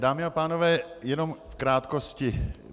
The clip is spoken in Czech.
Dámy a pánové, jenom v krátkosti.